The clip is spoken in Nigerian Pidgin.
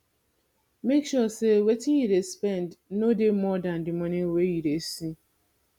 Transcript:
make sure sey wetin you dey spend no dey more than di money wey you dey see